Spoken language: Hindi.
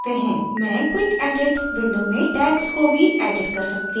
मैं quick edit window में tags को भी edit कर सकता हूँ